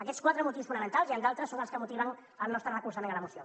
aquests quatre motius fonamentals n’hi han altres són els que motiven el nostre recolzament a la moció